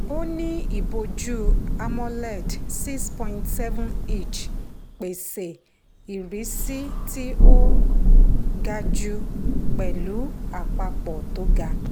ó ní ìbojú amoled 6.7-inch pèsè ìrísí tí ó gaju pẹ̀lú àpapọ̀ tó ga.